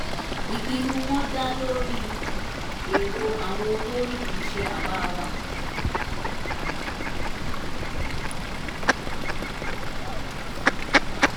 ìpinnu wọn dá lórí erò àwọn olórí kì í ṣe àbá wa